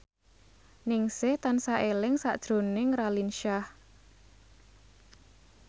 Ningsih tansah eling sakjroning Raline Shah